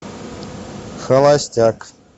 холостяк